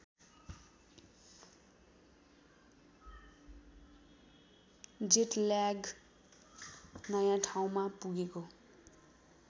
jet lag नयाँ ठाउँमा पुगेको